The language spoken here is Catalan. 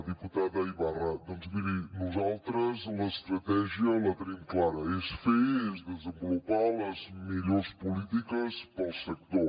diputada ibarra doncs miri nosaltres l’estratègia la tenim clara és fer és desenvolupar les millors polítiques per al sector